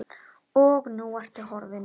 Og nú ertu horfin.